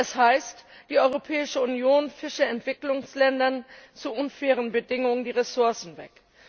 Es heißt, die Europäische Union fische Entwicklungsländern zu unfairen Bedingungen die Ressourcen weg.